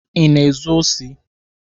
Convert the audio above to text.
Ị na-ezu osi?